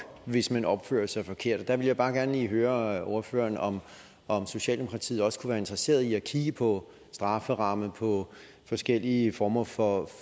hvis man opfører sig forkert og der vil jeg bare gerne lige høre ordføreren om om socialdemokratiet også kunne være interesseret i at kigge på strafferamme på forskellige former for